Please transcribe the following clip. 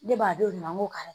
Ne b'a d'o de ma n ko kari